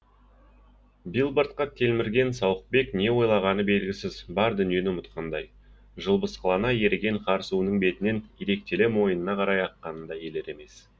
билбордқа телмірген сауықбек не ойлағаны белгісіз бар дүниені ұмытқандай жылбысқылана еріген қар суының бетінен иректеле мойынына қарай аққанын да елер емес